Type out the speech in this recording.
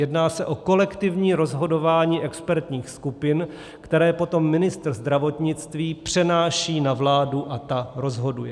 Jedná se o kolektivní rozhodování expertních skupin, které potom ministr zdravotnictví přenáší na vládu, a ta rozhoduje.